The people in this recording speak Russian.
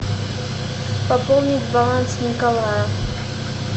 пополнить баланс николая